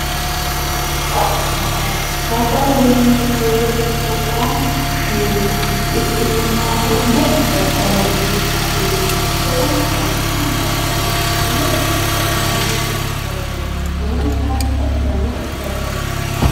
Daddallo, daddallo yineemmo woyte gobbanni fushineenna hidhineemmoha konne daddaloho yinne adhineemmo kuni daddali ane lowontanni baxisanoe daddaloti